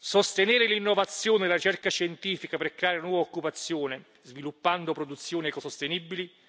sostenere l'innovazione e la ricerca scientifica per creare nuova occupazione, sviluppando produzioni ecosostenibili